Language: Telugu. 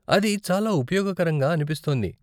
అది చాలా ఉపయోగకరంగా అనిపిస్తోంది.